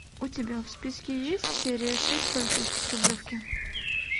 у тебя в списке есть серия шесть полицейский с рублевки